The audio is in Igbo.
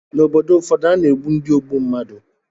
Ná obodo ụfọdụ, a na-egbu ndị ogbu mmadụ